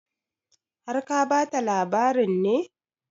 Har ka ba ta labarin ne?